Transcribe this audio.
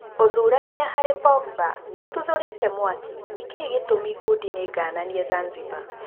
Ũthurania harĩ Pogba nĩũtuthũrĩte mwaki nĩkĩĩ gĩtũmi ngundi nĩngananie Zanzibar